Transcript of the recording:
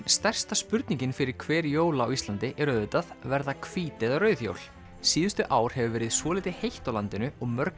stærsta spurningin fyrir hver jól á Íslandi er auðvitað verða hvít eða rauð jól síðustu ár hefur verið svolítið heitt á landinu og mörg